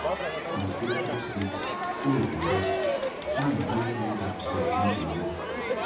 on sacred days hoe dey rest hand wey hold am sef no dey work